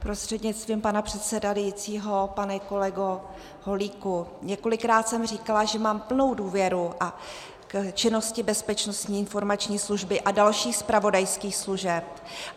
Prostřednictvím pana předsedajícího pane kolego Holíku, několikrát jsem říkala, že mám plnou důvěru k činnosti Bezpečnostní informační služby a dalších zpravodajských služeb.